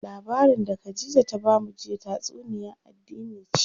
Labarin da Khadija ta bamu jiya tatsuniya addini ce.